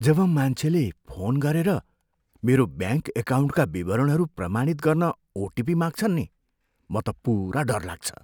जब मान्छेले फोन गरेर मेरो ब्याङ्क एकाउन्टका विवरणहरू प्रमाणित गर्न ओटिपी माग्छन् नि, म त पुरा डर लाग्छ।